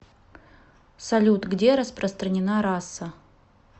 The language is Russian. салют где распространена раса